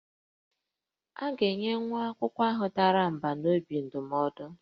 A ga-enye nwa akwụkwọ ahụ dara mbà n'obi ndụmọdụ